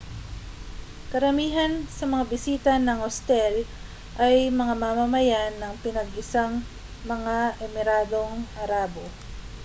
karamihan sa mga bisita ng ostel ay mga mamamayan ng pinag-isang mga emiradong arabo